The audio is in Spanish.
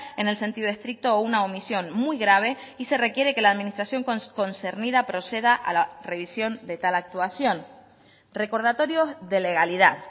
en el sentido estricto o una omisión muy grave y se requiere que la administración concernida proceda a la revisión de tal actuación recordatorios de legalidad